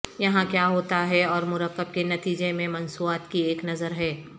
یہاں کیا ہوتا ہے اور مرکب کے نتیجے میں مصنوعات کی ایک نظر ہے